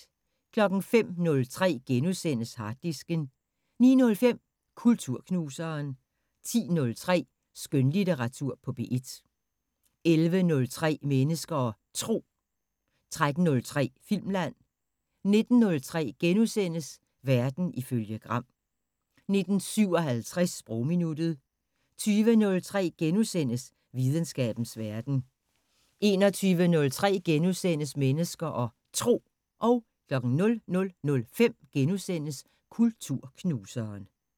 05:03: Harddisken * 09:05: Kulturknuseren 10:03: Skønlitteratur på P1 11:03: Mennesker og Tro 13:03: Filmland 19:03: Verden ifølge Gram * 19:57: Sprogminuttet 20:03: Videnskabens Verden * 21:03: Mennesker og Tro * 00:05: Kulturknuseren *